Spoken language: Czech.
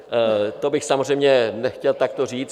To bych samozřejmě nechtěl takto říct.